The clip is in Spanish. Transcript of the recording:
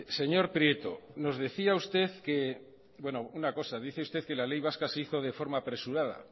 señor prieto dice usted que la ley vasca se hizo de forma apresurada